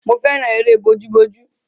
Mo fẹ́ràn eré bójú bójú.